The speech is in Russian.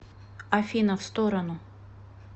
афина в сторону